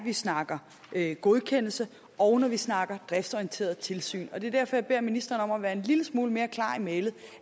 vi snakker godkendelse og når vi snakker driftsorienteret tilsyn det er derfor jeg beder ministeren om at være en lille smule mere klar i mælet